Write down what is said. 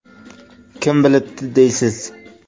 Kim bilibdi, deysiz?